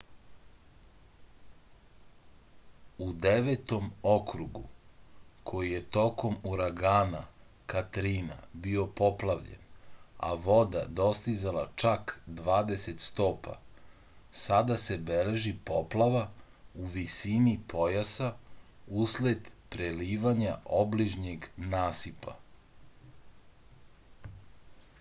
u devetom okrugu koji je tokom uragana katrina bio poplavljen a voda dostizala čak 20 stopa sada se beleži poplava u visini pojasa usled prelivanja obližnjeg nasipa